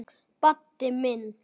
Baddi minn.